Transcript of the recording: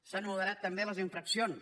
s’han moderat també les infraccions